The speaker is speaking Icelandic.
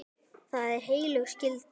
Það er heilög skylda.